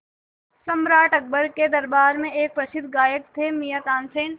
सम्राट अकबर के दरबार में एक प्रसिद्ध गायक थे मियाँ तानसेन